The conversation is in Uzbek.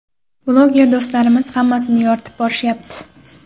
Bloger do‘stlarimiz hammasini yoritib borishyapti.